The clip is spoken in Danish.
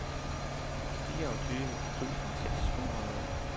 fireogtyve tusind seks hundrede